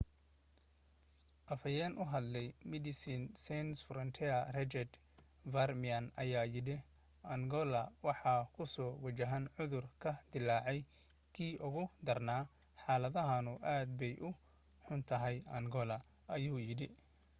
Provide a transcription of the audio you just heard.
afhayeen u hadlay medecines sans frontiere richard veerman ayaa yidhi: angoola waxay kusoo wajahan cudur ka dillaaca kii ugu darnaa xaaladduna aad bay u xuntahay angoola,” ayuu yidhi